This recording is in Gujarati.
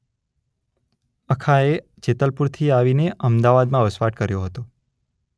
અખાએ જેતલપુરથી આવીને અમદાવાદમાં વસવાટ કર્યો હતો.